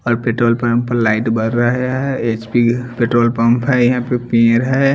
और petrol pump पर light बर रहे है एचपी पेट्रोल पंप है यहाँ पे पीर है।